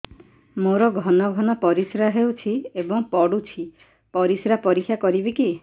ମୋର ଘନ ଘନ ପରିସ୍ରା ହେଉଛି ଏବଂ ପଡ଼ୁଛି ପରିସ୍ରା ପରୀକ୍ଷା କରିବିକି